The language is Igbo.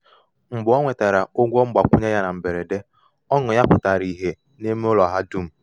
mgbe o nwetara ụgwọ mgbakwunye na mberede um ọṅụ ya pụtara ìhè n’ime ụlọ ha dum.